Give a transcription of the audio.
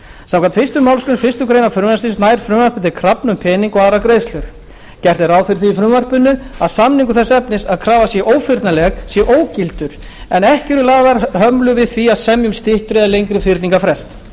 samkvæmt fyrstu málsgrein fyrstu grein frumvarpsins nær frumvarpið til krafna um peninga og aðrar greiðslur gert er ráð fyrir því í frumvarpinu að samningur þess efnis að krafa sé ófyrnanleg sé ógildur en ekki eru lagðar hömlur við því að semja um styttri eða lengri fyrningarfrest í